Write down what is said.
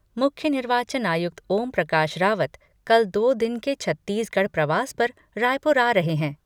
मुख्य निर्वाचन आयुक्त ओमप्रकाश रावत कल दो दिन के छत्तीसगढ़ प्रवास पर रायपुर आ रहे हैं।